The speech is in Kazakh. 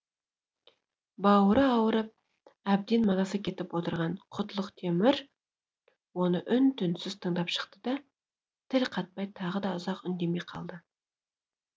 бауыры ауырып әбден мазасы кетіп отырған құтлық темір оны үн түнсіз тыңдап шықты да тіл қатпай тағы ұзақ үндемей қалды